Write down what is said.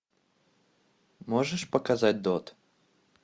можешь показать дот